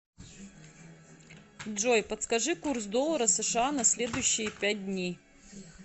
джой подскажи курс доллара сша на следующие пять дней